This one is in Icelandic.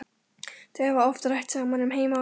Þau hafa oft rætt saman um heima og geima.